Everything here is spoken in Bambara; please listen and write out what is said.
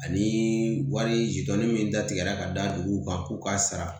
Ani wari min datigɛra ka da duguw kan k'u ka sara